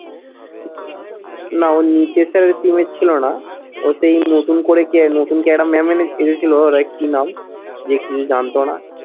না ও sir এর team এ ছিল না। ও সেই নতুন করে কে, নতুন কে একটা maam এনে এসেছিলো like কি নাম? যে কিছু জানতো না